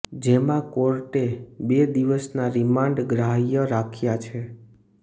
જેમા કોર્ટે બે દિવસના રિમાન્ડ ગ્રાહ્ય રાખ્યા છે